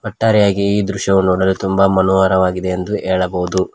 ಒಟ್ಟಾರೆಯಾಗಿ ಈ ದೃಶ್ಯವು ನೋಡಲು ತುಂಬಾ ಮನೋಹರವಾಗಿದೆ ಎಂದು ಹೇಳಬಹುದು.